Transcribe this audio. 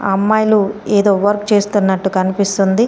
అమ్మాయిలు ఏదో వర్క్ చేస్తున్నట్టు కనిపిస్తుంది.